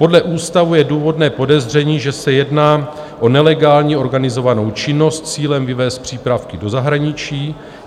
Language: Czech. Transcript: Podle ústavu je důvodné podezření, že se jedná o nelegální organizovanou činnost s cílem vyvézt přípravky do zahraničí.